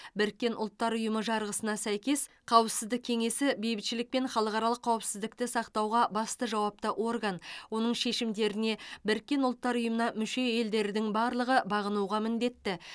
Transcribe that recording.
біріккен ұлттар ұйымы жарғысына сәйкес қауіпсіздік кеңесі бейбітшілік пен халықаралық қауіпсіздікті сақтауға басты жауапты орган оның шешімдеріне біріккен ұлттар ұйымына мүше елдердің барлығы бағынуға міндетті